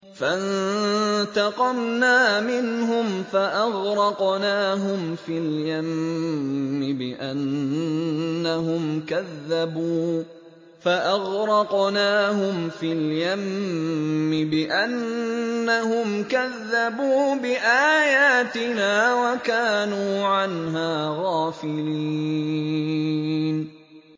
فَانتَقَمْنَا مِنْهُمْ فَأَغْرَقْنَاهُمْ فِي الْيَمِّ بِأَنَّهُمْ كَذَّبُوا بِآيَاتِنَا وَكَانُوا عَنْهَا غَافِلِينَ